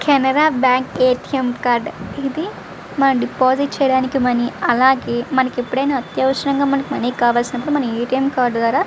Canara bank ATM. Card deposit చేయడానికి అలాగే మనకు ఎప్పుడయినా అత్యవసరంగా మనకి మనీ కావలిసినపుడు మన ఎ.టి.ఎం. కార్డు ద్వార.